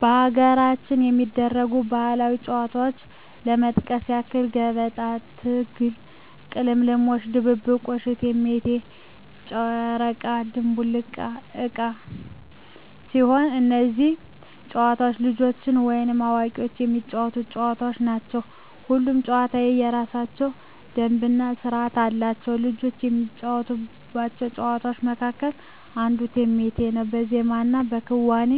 በሀገራችን ከሚደረጉ ባህላዊ ጨዋታዎች ለመጥቀስ ያክል ገበጣ፣ ትግል፣ ቅልምልሞሽ፣ ድብብቆሽ፣ እቴሜቴ፣ ጨረቃ ድንቡል ዕቃ ሲሆኑ እነዚህ ጨዋታዎች ልጆችም ወይም አዋቂዎች የሚጫወቱት ጨዋታዎች ናቸው። ሁሉም ጨዋታ የየራሳቸው ደንብ እና ስርዓት አላቸው። ልጆች ከሚጫወቷቸው ጨዋታዎች መካከል አንዱ እቴሜቴ ነው በዜማና በክዋኔ